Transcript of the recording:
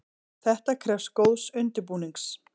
Þetta krefst góðs undirbúnings.